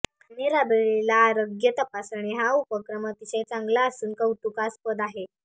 त्यांनी राबविलेला आरोग्य तपासणी हा उपक्रम अतिशय चांगला असून कौतुकास्पद आहे